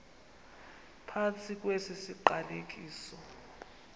phantsi kwesi siqalekiso